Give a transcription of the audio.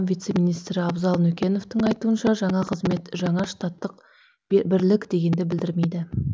вице министрі абзал нүкеновтың айтуынша жаңа қызмет жаңа штаттық бірлік дегенді білдірмейді